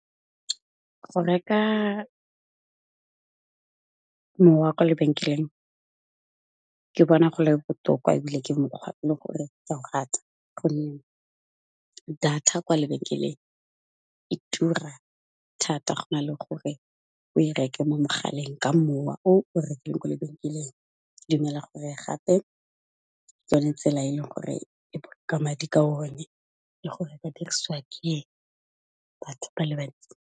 Go reka, mowa ko lebenkeleng ke bona go le botoka ebile ke mokgwa e le gore ka o rata, gonne data kwa lebenkeleng e tura thata go na le gore o e reke mo mogaleng ka mowa o rekile kwa lebenkeleng. Ke dumela gore gape ke yone tsela e leng gore e boloka madi ka one le gore e diriswa ke batho ba le bantsi.